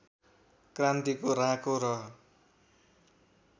क्रान्तिको राँको र